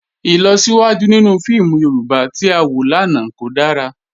Ilọsiwaju ninu fíìmù Yorùbá tí a wọ lánà kò dára.